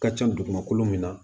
Ka ca dugumakolo min na